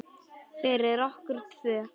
Fyrir okkur tvö.